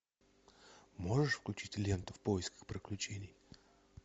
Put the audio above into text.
можешь включить ленту в поисках приключений